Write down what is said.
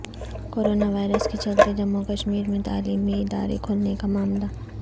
corona virus کے چلتے جموں کشمیر میں تعلیمی ادارے کھولنے کا معاملہ